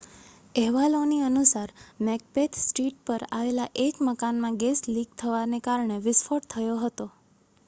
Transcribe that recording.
અહેવાલોની અનુસાર Macbeth Street પર આવેલા એક મકાનમાં ગેસ લિક થવાને કારણે વિસ્ફોટ થયો હતો